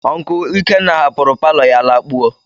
Onkul Ikenna hapụrụ palo ya lakpuo.